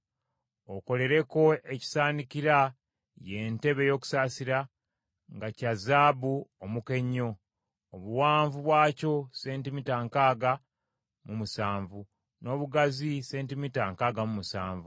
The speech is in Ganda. “Okolereko ekisaanikira, ye ntebe ey’okusaasira, nga kya zaabu omuka ennyo; obuwanvu bwakyo sentimita nkaaga mu musanvu, n’obugazi sentimita nkaaga mu musanvu.